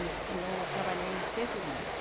E e eu trabalhei sempre muito.